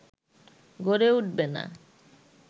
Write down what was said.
গড়ে উঠবে না